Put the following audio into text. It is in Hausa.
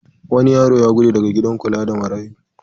Wani yaro ya gudu daga gidan kula da marayu.